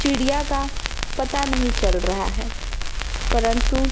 चिड़िया का पता नहीं चल रहा है परन्तु--